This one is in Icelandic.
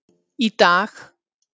Í dag,